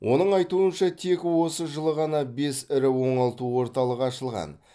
оның айтуынша тек осы жылы ғана бес ірі оңалту орталығы ашылған